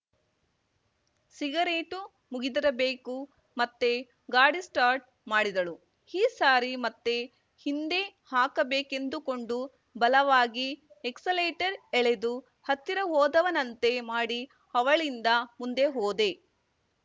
cigarette ಮುಗಿದಿರಬೇಕು ಮತ್ತೆ ಗಾಡಿ ಸ್ಟಾರ್ಟ್‌ ಮಾಡಿದಳು ಈ ಸಾರಿ ಮತ್ತೆ ಹಿಂದೆ ಹಾಕಬೇಕೆಂದುಕೊಂಡು ಬಲವಾಗಿ ಎಕ್ಸಲೇಟರ್ ಎಳೆದು ಹತ್ತಿರ ಹೋದವನಂತೆ ಮಾಡಿ ಅವಳಿಂದ ಮುಂದೆ ಹೋದೆ